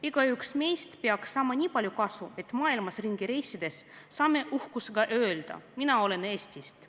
Igaüks meist peaks saama nii palju kasu, et võiksime maailmas ringi reisides uhkusega öelda: "Mina olen Eestist.